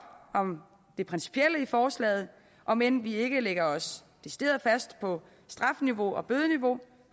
om det principielle i forslaget om end vi ikke lægger os decideret fast på strafniveau og bødeniveau